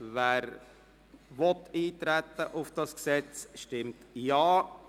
Wer auf die Gesetzesvorlage eintreten will, stimmt Ja,